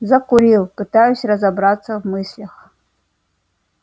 закурил пытаясь разобраться в мыслях